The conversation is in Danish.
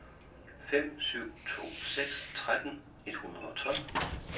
fem syv to seks tretten et hundrede og tolv